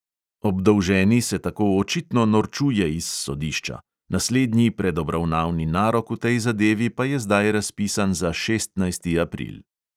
Obdolženi se tako očitno norčuje iz sodišča, naslednji predobravnavni narok v tej zadevi pa je zdaj razpisan za šestnajsti april.